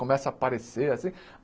Começa a aparecer assim.